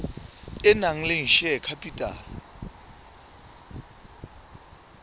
e nang le share capital